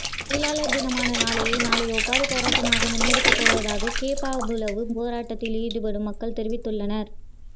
தொழிலாளர் தினமான நாளைய நாளை ஒப்பாரி போராட்டமாக முன்னெடுக்க போவதாக கேப்பாபுலவு போராட்டத்திலீடுபடும் மக்கள் தெரிவித்துள்ளனர்